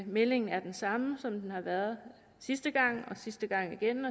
meldingen er den samme som den har været sidste gang og sidste gang igen